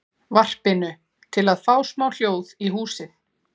varpinu, til að fá smá hljóð í húsið.